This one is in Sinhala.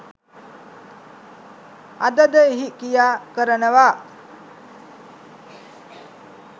අද ද එහි ක්‍රියා කරනවා.